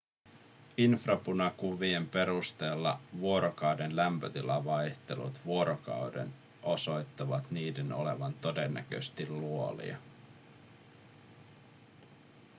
infrapunakuvien perusteella vuorokauden lämpötilavaihtelut vuorokauden osoittavat niiden olevan todennäköisesti luolia